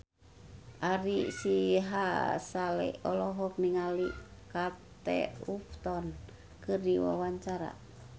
Ari Sihasale olohok ningali Kate Upton keur diwawancara